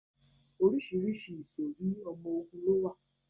Orísìírísìí ìsòrí ọmọ ogun ló wà